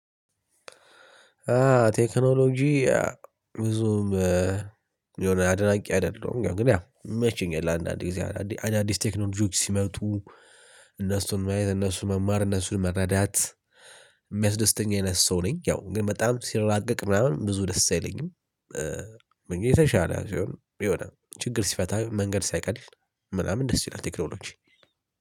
ቴክኖሎጂ ብዙም የሆነ አድናቂ አይደለም። ግን ያው የመቸናል አንዳንድ ጊዜ አዳዲስ ቴክኖሎጂዎች ሲመጡ እነሱን ማየት እነሱን መማር እነሱን መረዳት የሚያስደስተኝ አይነት ሰው ነኝ። ያው ግን በጣም ሲራቀቅ ምናምን ብዙ ደስ አይለኝም። የተሻለ ሲሆን የሆነ ችግር ሲፈታ መንገድ ሳይቀል ምናምን ደስ ይላል። ቴክኖሎጂ